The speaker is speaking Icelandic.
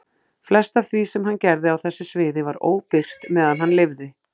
Flest af því sem hann gerði á þessu sviði var óbirt meðan hann lifði.